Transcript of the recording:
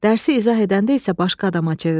Dərsi izah edəndə isə başqa adama çevrilirdi.